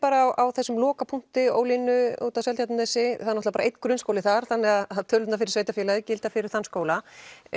á þessum lokapunkti Ólínu úti á Seltjarnarnesi það er bara einn grunnskóli þar þannig tölurnar fyrir sveitarfélagið gilda fyrir þann skóla